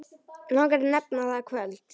Langar að nefna það kvöld.